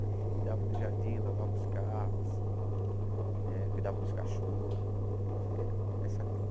Ele cuidava do jardim, lavava os carros, eh cuidava dos cachorros, essa coisa.